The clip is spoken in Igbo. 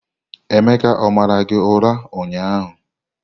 Emeka o mara gị ụra ụnyahụ?